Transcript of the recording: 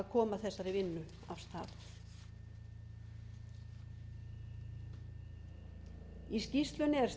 koma þessari vinnu af stað í skýrslunni er staða þingsins í